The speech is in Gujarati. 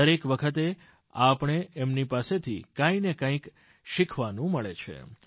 દરેક વખતે આપણને એમની પાસેથી કંઈને કંઈક શિખવાનું મળે છે